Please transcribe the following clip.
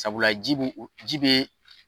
Sabula ji b'u ji bɛ